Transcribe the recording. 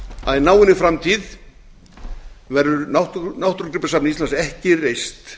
að í náinni framtíð verður náttúrugripasafn íslands ekki reist